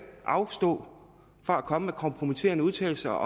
afstå fra at komme med kompromitterende udtalelser